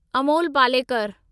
Amol Palekar